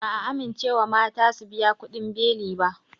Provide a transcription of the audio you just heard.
Ba'a amincewa mata su biya kuɗin beli ba